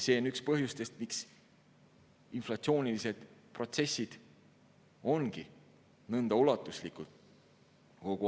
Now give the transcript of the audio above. See on üks põhjus, miks inflatsioonilised protsessid ongi kogu aeg nõnda ulatuslikud.